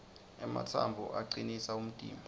ematsambo acinisa umtimba